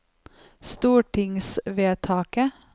stortingsvedtaket